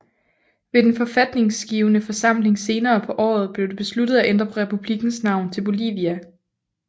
Ved den forfatningsgivende forsamling senere på året blev det besluttet at ændre republikkens navn til Bolivia